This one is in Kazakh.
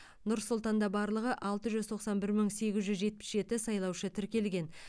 нұр сұлтанда барлығы алты жүз тоқсан бір мың сегіз жүз жетпіс жеті сайлаушы тіркелген